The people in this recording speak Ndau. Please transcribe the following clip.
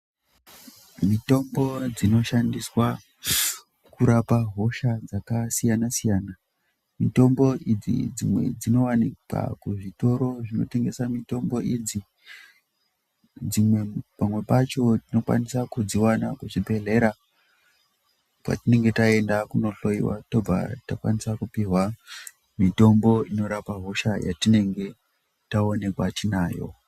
Mitombo dzinoshandiswa kurapa hosha dzakasiyana-siyana mitombo idzi dzimwe dzinowanikwa kuzvitoro zvinotengesa mitombo idzi pamwe pacho tinokwanisa kudziwana kuzvibhehlera kwatinenge taenda kunohloyiwa tobva takwanisa kupihwa mitombo inorapa hosha yatinenge taonekwa tinayo.